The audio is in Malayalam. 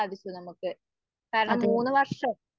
അതെ